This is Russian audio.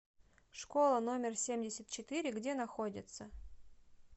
школа номер семьдесят четыре где находится